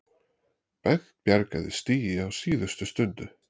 Bent bjargaði stigi á síðustu stundu